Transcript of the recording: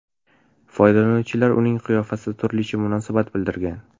Foydalanuvchilar uning qiyofasiga turlicha munosabat bildirgan.